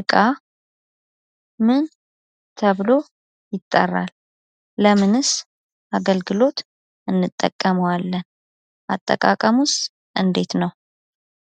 እቃ ምን ተብሎ ይጠራል። ለምንስ አገልግሎት እንጠቀማዋለን? አጠቃቀሙስ እንዴት ነው?